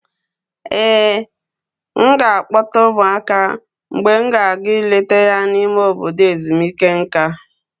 Ee, m ga-akpọta ụmụaka mgbe m ga-aga ileta ya n'ime obodo ezumike nka.